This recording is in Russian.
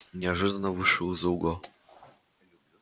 неожиданно вышел из-за угла